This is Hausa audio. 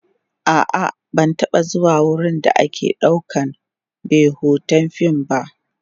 a'a ban taba zuwa wurin da ake ɗaukan be Hoton fim ba